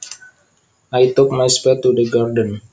I took my spade to the garden